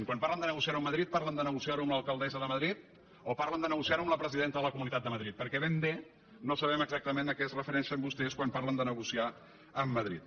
quan parlen de negociar·ho amb madrid parlen de negociar·ho amb l’alcaldessa de madrid o par·len de negociar·ho amb la presidenta de la comunitat de madrid perquè ben bé no sabem exactament a què es refereixen vostès quan parlen de negociar amb ma·drid